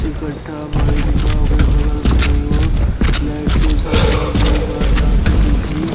इकठा भईल बा ओकरे बगल में एगो लाइट के खम्भा भी बा जहां से बिजली --